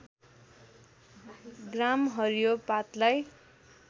ग्राम हरियो पातलाई